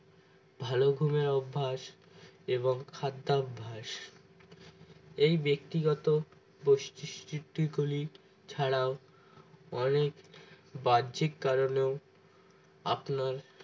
ভালো ঘুমের অভ্যাস এবং খাদ্যাভ্যাস এই ব্যক্তিগত প্রস্তুতি গুলি ছাড়াও অনেক বাহ্যিক কারণেও আপনার